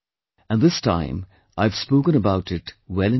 And this time I have spoken about it well in time